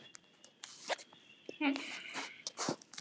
Einn offíserinn átti afmæli og bauð til þessa fagnaðar.